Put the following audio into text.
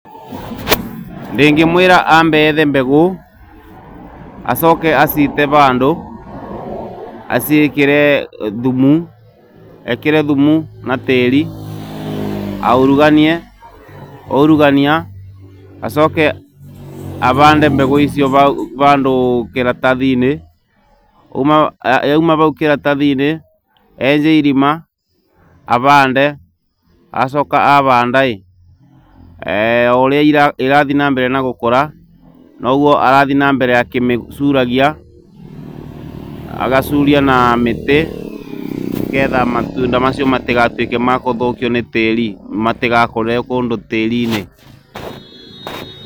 Ndĩngĩmwĩra ambe ethe mbegũ, acoke aciite vandũ, aciĩkĩre thumu, ekĩre thumu na tĩri, auruganie, aurugania, acoke avande mbegũ icio vandũ kĩratathi-inĩ, yauma vau kĩratathi-inĩ, enje irima ,avande, acoka avandaĩ,o ũrĩa irathiĩ na mbere na gũkũra, noguo arathiĩ na mbere akĩmĩcuragia, agacuria na mĩtĩ, nĩketha matunda macio matĩgatuĩke makũthũkio nĩ tĩĩri matĩgakũrĩre kũndũ tĩĩri-inĩ.